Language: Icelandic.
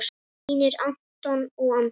Þínir Anton og Andri.